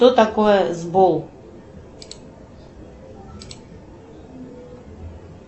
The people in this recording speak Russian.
кто такое сбол